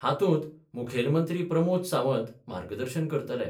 हातूंत मुखेलमंत्री प्रमोद सावंत मार्गदर्शन करतले.